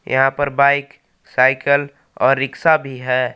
यहां पर bike cycle और भी है।